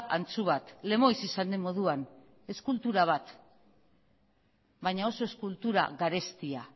antzu bat lemoiz izan den moduan eskultura bat baina oso eskultura garestia